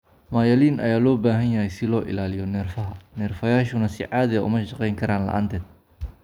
Myelin ayaa loo baahan yahay si loo ilaaliyo neerfaha, neerfayaashuna si caadi ah uma shaqeyn karaan la'aanteed.